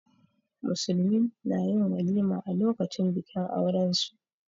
Musulmi na yin walima a lokacin bikin aurensu.